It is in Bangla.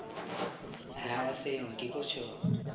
হ্যাঁ ওয়াসিম কি করছো?